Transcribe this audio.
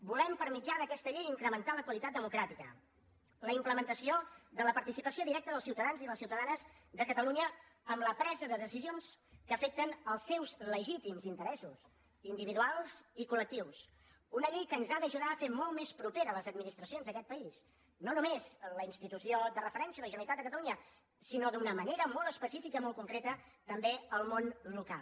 volem per mitjà d’aquesta llei incrementar la qualitat democràtica la implementació de la participació directa dels ciutadans i les ciutadanes de catalunya en la presa de decisions que afecten els seus legítims interessos individuals i col·lectius una llei que ens ha d’ajudar a fer molt més properes les administracions d’aquest país no només la institució de referència la generalitat de catalunya sinó d’una manera molt especifica i molt concreta també el món local